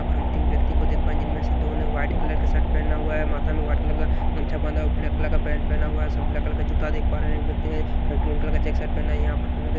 यहां पर हम तीन व्यक्ति को देख पाए जिनमें से दो ने वाइट कलर के शर्ट पहना हुआ है माथा में वाइट कलर का गमछा बांधा ब्लैक कलर का पहना हुआ है ब्लैक कलर का जूता देख पा रहे हैं व्यक्ति ने ग्रीन कलर का चेक शर्ट पहना है यहां पर हम लोग--